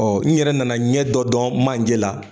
Ɔ n yɛrɛ nana ɲɛ dɔ dɔn manje la